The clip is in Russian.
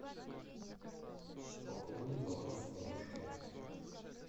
пополни баланс бабушки